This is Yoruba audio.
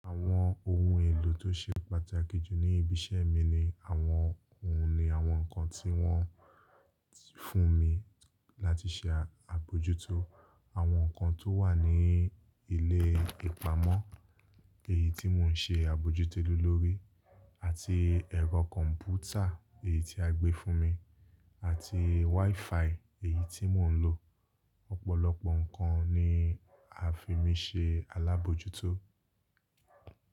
Àwọn ohun èlò tó ṣe pàtàkì jù ní ibi iṣẹ́ mi ni àwọn ohun ni àwọn nǹkan tí wọ́n fún mi láti ṣe àbojútó. Àwọn nǹkan tó wà ní ilé ìpamọ́ èyí tí mo ń ṣe àbójútó lé lórí, àti ẹ̀rọ kọ̀mpútà èyí tí a gbé fún mi, àti wifi èyí tí mo ń lò. Ọ̀pọ̀lọpọ̀ nǹkan ni a fi mi ṣe alábòójútó.